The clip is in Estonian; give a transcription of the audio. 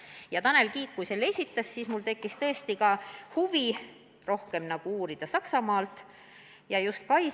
Ja kui Tanel Kiik selle mõtte esitas, siis mul tekkis tõesti huvi rohkem uurida Saksamaa kogemusi.